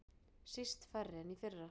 Síst færri en í fyrra